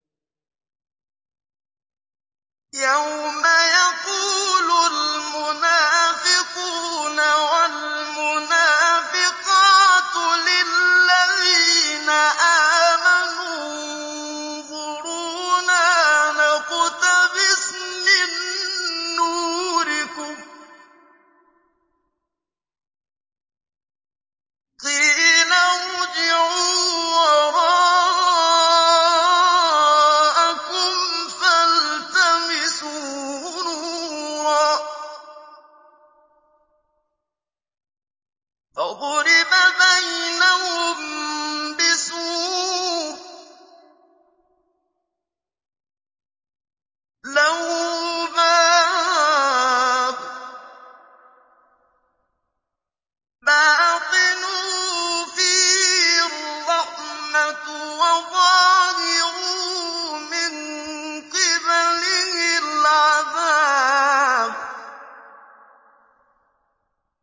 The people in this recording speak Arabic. يَوْمَ يَقُولُ الْمُنَافِقُونَ وَالْمُنَافِقَاتُ لِلَّذِينَ آمَنُوا انظُرُونَا نَقْتَبِسْ مِن نُّورِكُمْ قِيلَ ارْجِعُوا وَرَاءَكُمْ فَالْتَمِسُوا نُورًا فَضُرِبَ بَيْنَهُم بِسُورٍ لَّهُ بَابٌ بَاطِنُهُ فِيهِ الرَّحْمَةُ وَظَاهِرُهُ مِن قِبَلِهِ الْعَذَابُ